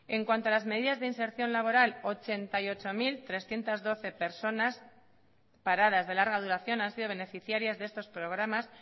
en cuanto a las medidas de inserción laboral ochenta y ocho mil trescientos doce personas paradas de larga duración han sido beneficiarias de estos programas